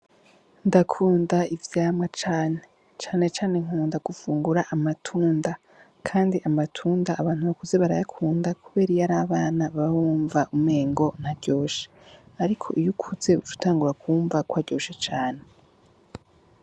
Ndakunda ivyamwa cane canecane nkunda gufungura amatunda, kandi amatunda abantu bakuze barayakunda kuberiyo ari abana babbumva umengo nta ryoshe, ariko iyo ukuze ucuta ngo bakumva ko aryoshe cane.